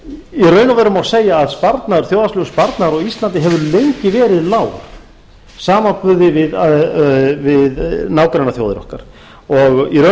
og veru má segja að þjóðhagslegur sparnaður á íslandi hefur lengi verið lágur í samanburði við nágrannaþjóðir okkar og í